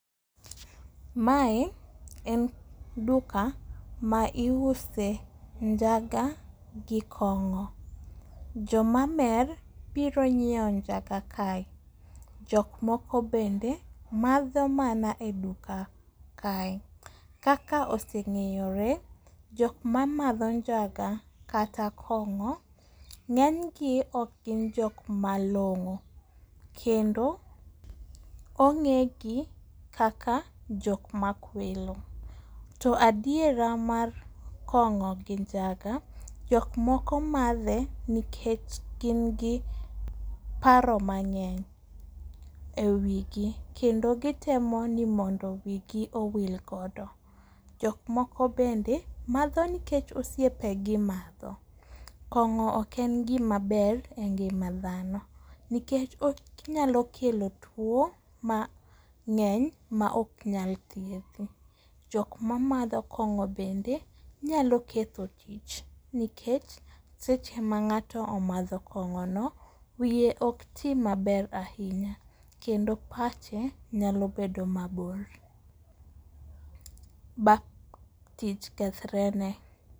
Mae en duka ma iuse njaga gi kong'o. Jomamer biro nyiewo njaga kae, jok moko bende ,madho mana e duka kae, kaka oseng'eyore, jok mamadho njaga kata kong'o, ng'enygi ok gin jok malong'o kendo ong'egi kaka jok makwelo, to adiera mar kong'o gi njaga, jok moko madhe nikech gin gi paro mang'eny e wi gi kendo gitemo ni mondo wigi owil godo. jok moko bende madho nikech osiepegi madho, kong'o ok ne gimaber e ngima dhano nikech onyalo kelo tuwo mang'eny maok nyal thiedhi. Jok mamadho kong'o bende nyalo ketho tich nikech seche ma ng'ato omadho kong'ono, wiye ok ti maber ahinya kendo pache nyalo bedo maber ba tich kethrene.